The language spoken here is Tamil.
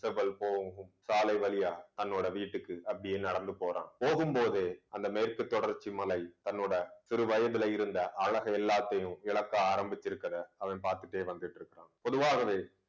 செவ்வல் போகும் சாலை வழியா தன்னோட வீட்டுக்கு அப்படியே நடந்து போறான். போகும்போதே அந்த மேற்கு தொடர்ச்சி மலை, தன்னோட சிறுவயதில இருந்த அழகை எல்லாத்தையும் இழக்க ஆரம்பிச்சிருக்கிறதை அவன் பாத்துட்டே வந்துட்டு பொதுவாகவே